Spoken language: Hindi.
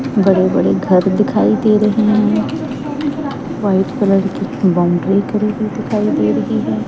बड़े बड़े घर दिखाई दे रहे हैं व्हाइट कलर की बाउंड्री करी हुई दिखाई दे रही है।